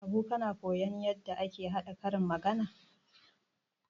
Habu kana koyon yadda ake haɗa karin magana?